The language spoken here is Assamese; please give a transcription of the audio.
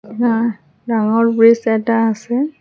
হা ডাঙৰ ব্ৰীজ এটা আছে।